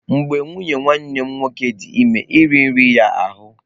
Mgbe nwunye nwanne m nwoke dị ime, nri riri ya ahụ́.